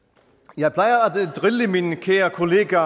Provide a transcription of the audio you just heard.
jeg plejer at drille min kære kollega